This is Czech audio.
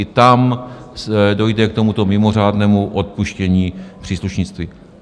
I tam dojde k tomuto mimořádnému odpuštění příslušenství.